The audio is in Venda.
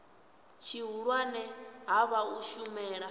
tshihulwane ha vha u shumela